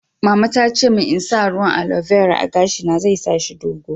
Mama ta ce mun n'sa ruwan aloe vera a'gashi na, zai sa shi dogo.